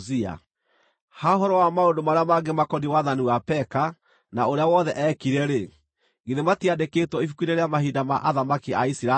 Ha ũhoro wa maũndũ marĩa mangĩ makoniĩ wathani wa Peka, na ũrĩa wothe eekire-rĩ, githĩ matiandĩkĩtwo ibuku-inĩ rĩa mahinda ma athamaki a Isiraeli?